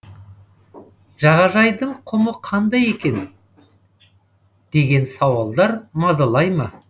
жағажайдың құмы қайда кеткен деген сауалдар мазаламай ма